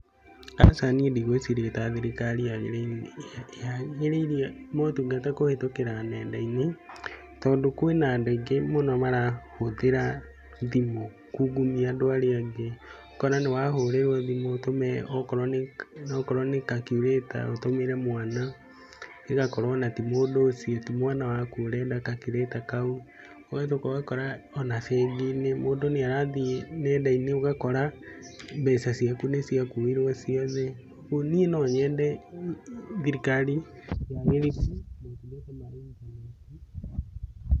Aca niĩ ndigwĩciria ta thirikari yagĩrĩirie motungata kũhĩtũkĩra nenda-inĩ. Tondũ kwĩna andũ aingĩ mũno marahũthĩra thimũ kũngumia andũ arĩa angĩ. Ũkona nĩ wa hũrĩrwo thimũ ũtume okorwo nĩ calculator, ũtumĩre mwana, ĩgakorwo ona ti mũndũ ũcio, ti mwana waku ũrenda calculator kau. Ũgacoka ũgakora ona bengi-inĩ mũndu nĩ arathiĩ nenda-inĩ ũgakora mbeca ciaku nĩ ciakuirwo ciothe. Ũguo niĩ no nyende thirikari yagĩrithie motungata ma intaneti.